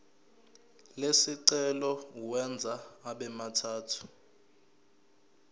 lesicelo uwenze abemathathu